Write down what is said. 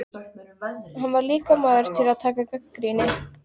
En hann er líka maður til að taka gagnrýni.